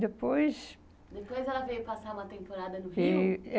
Depois... Depois ela veio passar uma temporada no Rio? E